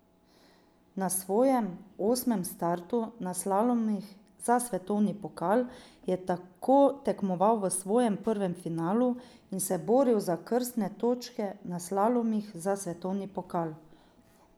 Na svojem osmem startu na slalomih za svetovni pokal je tako tekmoval v svojem prvem finalu in se boril za krstne točke na slalomih za svetovni pokal.